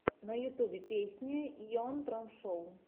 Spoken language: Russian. на ютюбе песня йон трон шоу